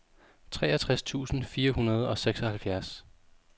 treogtres tusind fire hundrede og seksoghalvfjerds